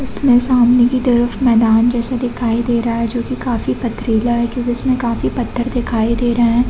इसके सामने की तरफ मैदान जैसा दिखाई दे रहा है जो की काफी पथरीला है क्योंकि उसमे काफी पत्थर दिखाई दे रहे है।